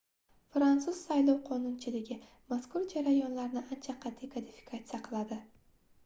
fransuz saylov qonunchiligi mazkur jarayonlarni ancha qatʼiy kodifikatsiya qiladi